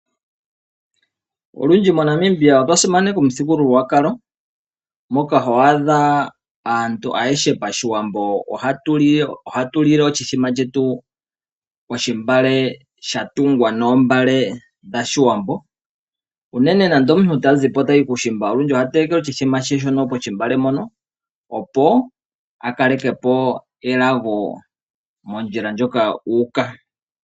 Olundji moNamibia otwa simaneka omuthigululwakalo, moka ho adha aantu atuhe pashiwambo ohatu lile oshithima shetu pelilo lyatungwa moombale. Uunene ngele omuntu ta zi po tayi kuushimba olundji oha telekelwa oshithima she pelilo mpoka, opo a kale ke po elago mondjila moka u uka.